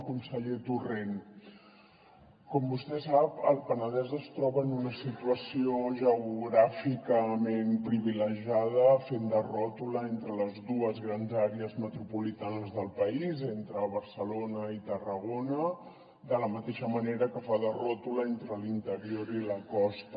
conseller torrent com vostè sap el penedès es troba en una situació geogràficament privilegiada fent de ròtula entre les dues grans àrees metropolitanes del país entre barcelona i tarragona de la mateixa manera que fa de ròtula entre l’interior i la costa